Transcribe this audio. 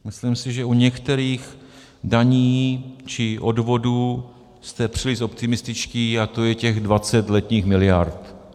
Myslím si, že u některých daní či odvodů jste příliš optimističtí, a to je těch 20 letních miliard.